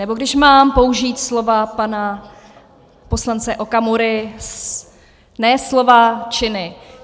Nebo když mám použít slova pana poslance Okamury: ne slova, činy.